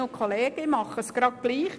Ich mache es ebenso.